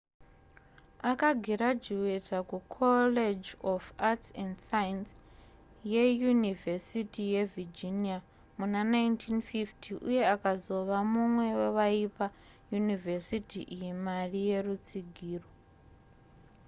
akagirajuweta kucollege of arts & science yeyunivhesiti yevirginia muna 1950 uye akazova mumwe wevaipa yunivesiti iyi mari yerutsigiro